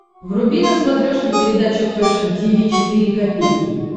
вруби на смотрешке передачу фэшн ти ви четыре ка